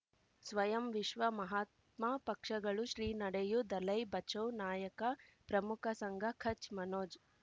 ಸ್ವಯಂ ವಿಶ್ವ ಮಹಾತ್ಮ ಪಕ್ಷಗಳು ಶ್ರೀ ನಡೆಯೂ ದಲೈ ಬಚೌ ನಾಯಕ ಪ್ರಮುಖ ಸಂಘ ಕಚ್ ಮನೋಜ್